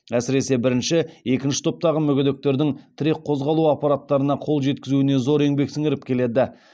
әсіресе бірінші екінші топтағы мүгедектердің тірек қозғалу аппараттарына қол жеткізуіне зор еңбек сіңіріп келеді